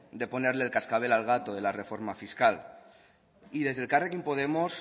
de ponerle el cascabel al gato de la reforma fiscal desde elkarrekin podemos